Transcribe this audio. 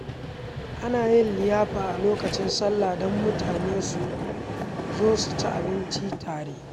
Ana yin liyafa a lokacin sallah don mutane su zo su ci abinci tare.